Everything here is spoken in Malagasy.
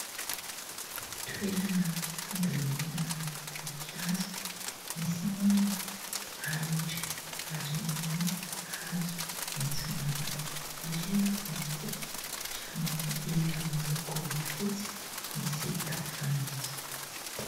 Toerana fambolena voninkazo. Misy ny ahitra ary ny hazo maitso mavana. Ery ampovoany kosa, trano iva miloko fotsy misy tafo fanitso.